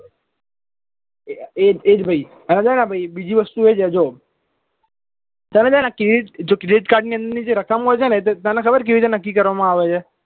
એજ એજ ભાઈ હવે છે ને બીજી વસ્તુ છે જો તને છે ને credit જો credit card ની અંદર ની જો રકમ હોય છે ને તે તને ખબર કેવી રીતે નક્કી કરવામાં આવે છે